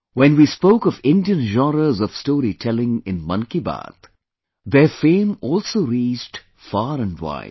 When we spoke of Indian genres of storytelling in 'Mann Ki Baat', their fame also reached far and wide